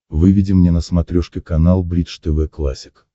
выведи мне на смотрешке канал бридж тв классик